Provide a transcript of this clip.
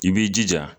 I b'i jija